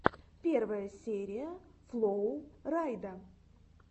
первая серия флоу райда